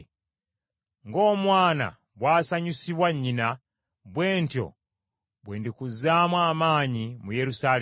Ng’omwana bw’asanyusibwa nnyina, bwe ntyo bwe ndikuzzaamu amaanyi mu Yerusaalemi.”